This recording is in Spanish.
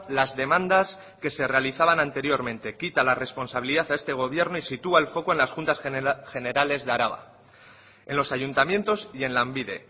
las demandas que se realizaban anteriormente quita la responsabilidad a este gobierno y sitúa el foco en las juntas generales de araba en los ayuntamientos y en lanbide